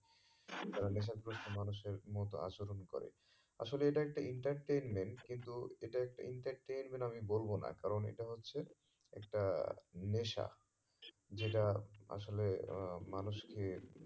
তারা নেশা গ্রস্ত মানুষের মতো আচরণ করে আসলে এটা একটা entertainment কিন্তু এটা একটা entertainment আমি বলবো না কারণ এটা হচ্ছে একটা নেশা যেটা আসলে আহ মানুষকে